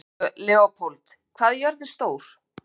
Leópold, hvað er jörðin stór?